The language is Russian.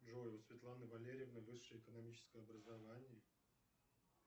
джой у светланы валерьевны высшее экономическое образование